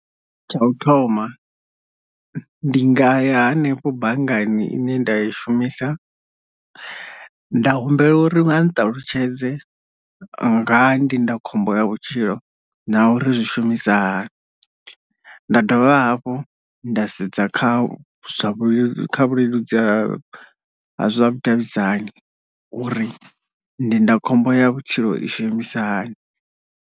Tsha u thoma ndi nga ya hanefho banngani ine nda i shumisa nda humbela uri vha nṱalutshedze nga ndindakhombo ya vhutshilo na uri zwi shumisa hani, nda dovha hafhu nda sedza kha zwa vhulell kha vhuleludzi ha vhudavhidzani uri ndindakhombo ya vhutshilo i shumisa hani.